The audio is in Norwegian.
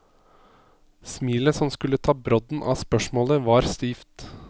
Smilet som skulle ta brodden av spørsmålet var stivt.